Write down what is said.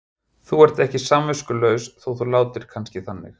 Þú ert ekki samviskulaus þótt þú látir kannski þannig.